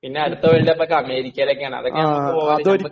പിന്നെ അടുത്ത world cup ഒക്കെ അമേരിക്ക അതൊക്കെയാണെങ്കിൽ പോകാൻ..